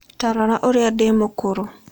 Ta rora ũrĩa ndĩ mũkũrũ.